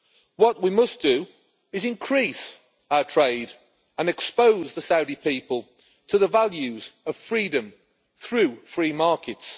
What we must do is increase our trade and expose the Saudi people to the values of freedom through free markets.